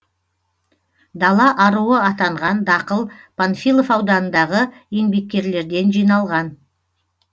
дала аруы атанған дақыл панфилов ауданындағы еңбеккерлерден жиналған